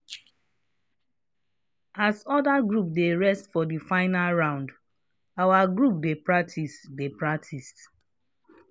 as other grops dey rest for the final round our group dey practice dey practice